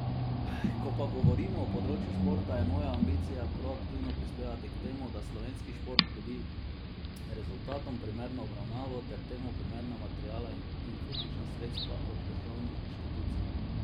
Ko pa govorimo o področju športa, je moja ambicija proaktivno prispevati k temu, da slovenski šport dobi rezultatom primerno obravnavo ter temu primerna materialna in finančna sredstva od državnih inštitucij.